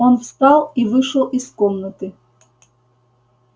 он встал и вышел из комнаты